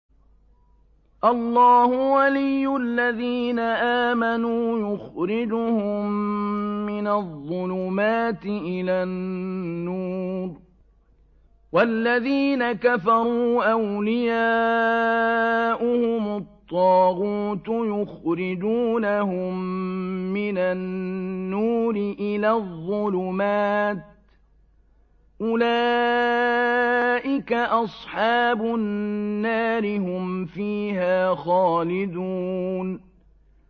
اللَّهُ وَلِيُّ الَّذِينَ آمَنُوا يُخْرِجُهُم مِّنَ الظُّلُمَاتِ إِلَى النُّورِ ۖ وَالَّذِينَ كَفَرُوا أَوْلِيَاؤُهُمُ الطَّاغُوتُ يُخْرِجُونَهُم مِّنَ النُّورِ إِلَى الظُّلُمَاتِ ۗ أُولَٰئِكَ أَصْحَابُ النَّارِ ۖ هُمْ فِيهَا خَالِدُونَ